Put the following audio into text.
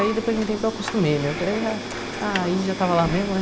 Aí depois de um tempo eu acostumei mesmo, eu falei, já, aí já estava lá mesmo, né?